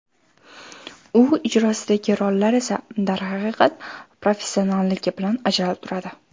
U ijrosidagi rollar esa darhaqiqat professionalligi bilan ajralib turadi.